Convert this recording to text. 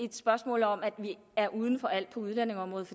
et spørgsmål om at vi er uden for alt på udlændingeområdet